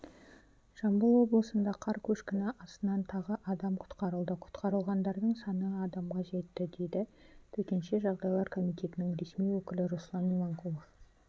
жамбыл облысында қар көшкіні астынан тағы адам құтқарылды құтқарылғандардың саны адамға жетті деді төтенше жағдайлар комитетінің ресми өкілі руслан иманқұлов